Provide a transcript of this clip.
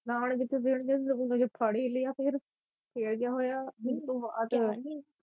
ਨਾਲ ਈ ਜਿਥੇ ਫੜ ਈ ਲਿਆ ਫਿਰ, ਫਿਰ ਕਿਆ ਹੋਇਆ